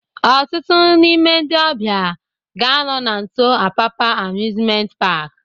Ọtụtụ n'ime ndị ọbịa ga-anọ na nso Apapa Amusement Park